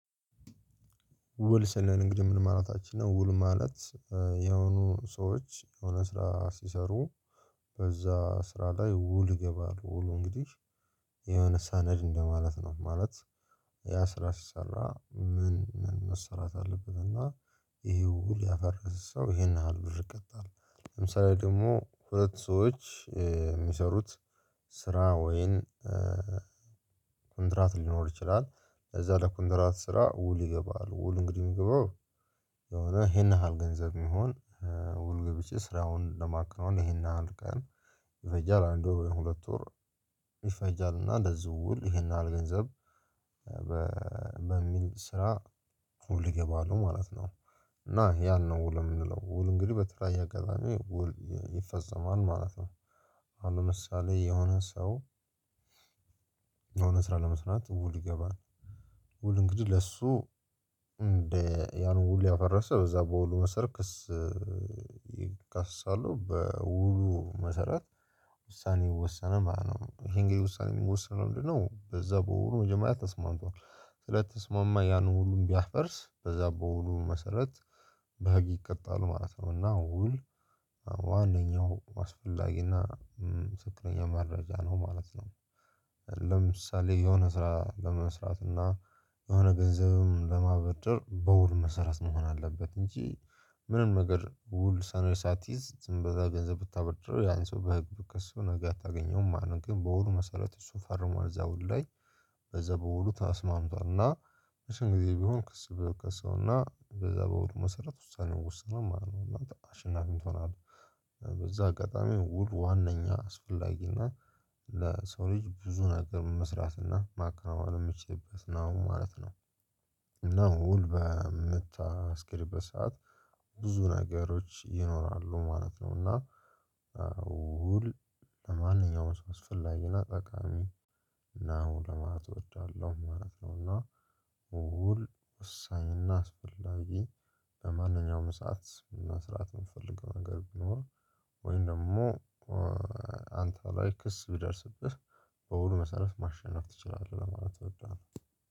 ውል ስንል እንግዲህ ምን ማለታችን ነው? ውል ማለት የሆኑ ሰዎች የሆነ ስራ ሲሰሩ በዛ ስራ ላይ ውል ይገባሉ ውሉ እንግዲህ የሆነ ሰነድ እንደማለት ነው። ማለት ያ ስራ ሲሰራ ምን ምን መሰራት አለበት እና ይሄ ውል ያፈረሰ ሰው ይሄን ያህል ብር ይቀጣል። ለምሳሌ ደግሞ ሁለት ሰዎች የሚሰሩት ስራ ወይም ኮንትራት ሊኖር ይችላል። እዛ ለኮንትራት ስራ ውል ይገባል ውል እንግዲህ የሚገባው የሆነ ይሄን ያህል ገንዘብ የሚሆን ውል ገብቼ ስራውን ለማከናዎን ይሄን ያህል ቀን ይፈጃል አንድ ወር ወይም ሁለት ወር ይፈጃል እና ለዚሁ ውል ይሄን ያህል ገንዘብ በሚል ስራ ውል ይገባሉ ማለት ነው። እና ያን ነው ውል የምንለው ውል እንግዲህ በተለያየ አጋጣሚ ውል ይፈጸማል ማለት ነው። አሁን ለምሳሌ የሆነ ሰው የሆነ ስራ ለመስራት ውል ይገባል። ውል እንግዲህ ለሱ ያን ውሉ ያፈረሰ በዛ በውሉ መሰረት ክስ ይካሰሳሉ በውሉ መሰረት ውሳኔ ይወሰናል ማለት ነው። ይሄ እንግዲህ ውሳኔ የሚወሰነው ምንድንነው? በዛ በውሉ መጀመሪያ ተስማምቷል ስለተስማማ ያን ውሉን ቢያፈርስ በዛ በውሉ መሰረት በህግ ይቀጣሉ ማለት ነው። እና ውል አዎ ዋነኛው አስፈላጊና ትክክለኛ መረጃ ነው ማለት ነው። ለምሳሌ የሆነ ስራ ለመስራት እና የሆነ ገንዘብም ለማበደር በውል መሰረት መሆን አለበት እንጂ ምንም ነገር ውል ሰነድ ሳትይዝ ዝም ብለህ ገንዘብ ብታበድረው ያን ሰው በህግ ብትከሰው ነገ አታገኘውም። ማለት ግን በውሉ መሰረት እሱ ፈርሟል እዛ ውል ላይ በዛ በውሉ ታስማምቷል እና በሽን ጊዜ ቢሆን ክስ በከሰው እና በዛ በውሉ መሰረት ውሳኔው ወሰኗል ማለት ነው እና አንተ አሸናፊም ትሆናለህ። በዛ አጋጣሚ ውል ዋናኛ አስፈላጊና ለሰው ልጅ ብዙ ነገር መስራት እና ማከናወን የሚችልበት ነው ማለት ነው። እና ውል በምታስኬድበት ሰዓት ብዙ ነገሮች ይኖራሉ ማለት ነው። እና ውል ለማንኛውም ሰው አስፈላጊና ጠቃሚ እና ለማለት እወዳለሁ ማለት ነው። እና ውል ወሳኝ እና አስፈላጊ ለማንኛውም ሰዓት መስራት የምፈልገው ነገር ቢኖር ወይም ደግሞ አንተ ላይ ክስ ቢደርስብህ በውሉ መሰረት ማሸነፍ ትችላለህ። ለማለት እወዳለሁ።